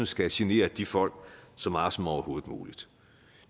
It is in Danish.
skal genere de folk så meget som overhovedet muligt